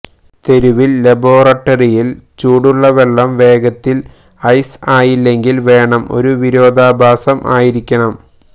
തെരുവിൽ ലബോറട്ടറി ൽ ംപെംബ ചൂടുള്ള വെള്ളം വേഗത്തിൽ ഐസ് ആയില്ലെങ്കിൽ വേണം ഒരു വിരോധാഭാസം ആയിരിക്കണം